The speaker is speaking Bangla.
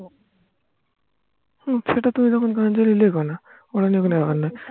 হম সেটা তখন তুমি গান চালিয়ে লেখো না কোনো ব্যাপার না